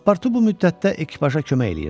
Pasportu bu müddətdə ekipaja kömək eləyirdi.